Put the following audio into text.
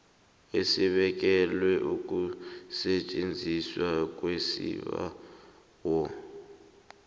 esibekelwe ukusetjenzwa kwesibawo